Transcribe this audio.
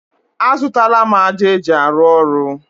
A zụtala m ájá eji arụ ọrụ.